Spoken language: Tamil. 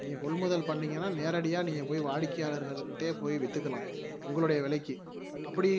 நீங்க கொள்முதல் பண்ணீங்கன்னா நேரடியா நீங்க போய் வாடிக்கையாளர்கள்கிட்டயே போய் வித்துக்கலாம் உங்களுடைய விலைக்கு அப்படி